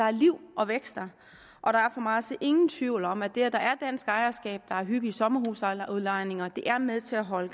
er liv og vækst og der er for mig at se ingen tvivl om at det at der er dansk ejerskab og hyppige sommerhusudlejninger er med til at holde